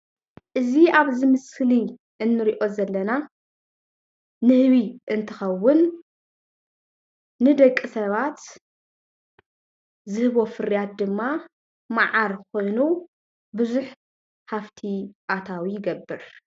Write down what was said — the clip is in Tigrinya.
እዚ ኣብዚ ምስሊ እንሪኦ ዘለና ንህቢ እንትኸዉን ንደቂ ሰባት ዝህቦ ፍርያት ድማ መዓር ኮይኑ ቡዙሕ ሃፍቲ ኣታዊ ይገብር።